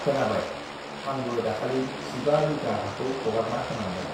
खोनाबाय आं बो दाखालि जिबा बिघा ह्वाखौ हगारना होनांबाय